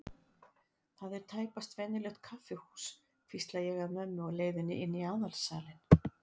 Þetta er tæpast venjulegt kaffihús, hvísla ég að mömmu á leiðinni inn í aðalsalinn.